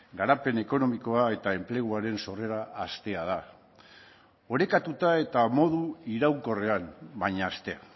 garapen ekonomikoa eta enpleguaren sorrera haztea da orekatuta eta modu iraunkorrean baina haztea